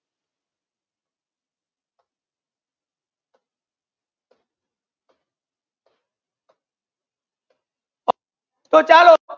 તો ચાલો